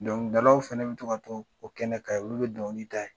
Donkilidalaw fana bɛ tɔ ka kɔ o kɛnɛ ka, olu bɛ dɔnkili d'a ye.